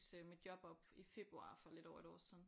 Mit job op i februar for lidt over et år siden